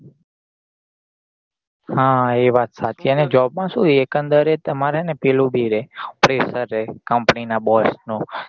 હા એ વાત સાચી અને job માં શું એકંદરે તે ને પેલું બી રે presser રે company નાં boss નું